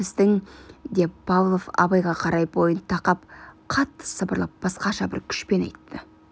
деп павлов абайға қарай бойын тақап қатты сыбырлап басқаша бір күшпен айтты